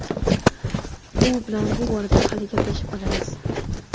U bilan bu borada hali gaplashib olamiz.